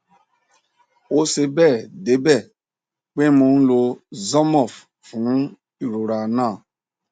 ó ṣe bẹẹ debẹ pé mo n lo zormorph fún irora naa